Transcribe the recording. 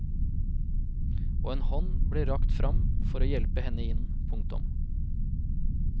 Og en hånd ble rakt fram for å hjelpe henne inn. punktum